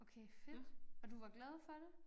Okay fedt og du var glad for det